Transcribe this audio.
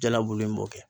Jalabulu in b'o kɛ